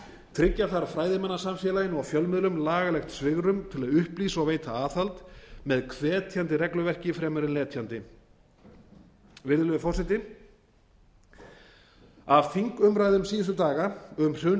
tryggja þarf fræðimannasamfélaginu og fjölmiðlum lagalegt svigrúm til að upplýsa og veita aðhald með hvetjandi regluverki fremur en letjandi virðulegi forseti af þingumræðum síðustu daga um